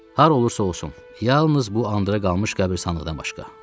Hara olursa olsun, yalnız bu qandara qalmış qəbrisanlıdan başqa.